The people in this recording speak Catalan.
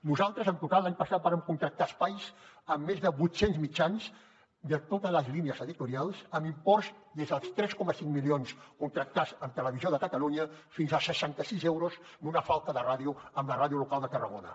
nosaltres en total l’any passat vàrem contractar espais en més de vuit cents mitjans de totes les línies editorials amb imports des dels tres coma cinc milions contractats amb televisió de catalunya fins als seixanta sis euros d’una falca de ràdio a la ràdio local de tarragona